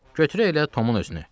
Götürək elə Tomun özünü.